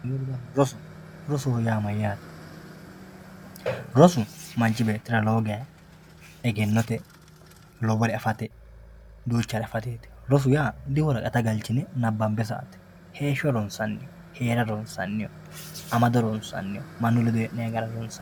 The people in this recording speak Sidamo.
roso rosoho yaa mayaate rosu manch beettira lowo geya egennote lowore afate duuchare afateeti rosu yaa diworaqata galchine nabanbe sa"ate heesho ronsanni heera ronsanni amado ronsanni manu ledo heenayi gara ronsanni